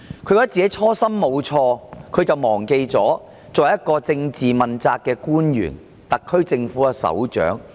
她有這樣的想法，就是忘記她是一名政治問責官員、特區政府的首長。